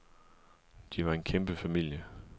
De var en kæmpe familie.